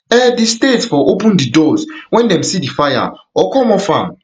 um di state for open di doors wen dem see di fire or come off am um